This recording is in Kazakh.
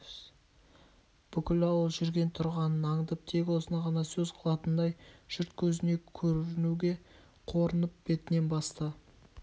бүкіл ауыл жүрген-тұрғанын аңдып тек осыны ғана сөз қылатындай жұрт көзіне көрінуге қорынып бетінен басты